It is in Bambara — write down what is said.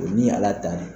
Ni ala ta